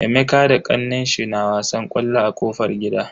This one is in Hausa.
Emeka da kannenshi na wasan ƙwallo a kofar gida.